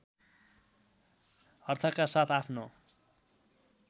अर्थका साथ आफ्नो